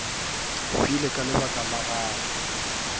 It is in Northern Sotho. hwile ka lebaka la gago